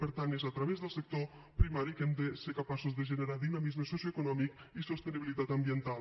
per tant és a través del sector primari que hem de ser capaços de generar dinamisme socioeconòmic i sostenibilitat ambiental